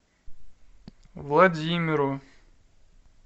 владимиру